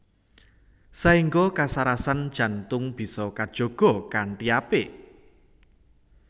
Saéngga kasarasan jantung bisa kajaga kanthi apik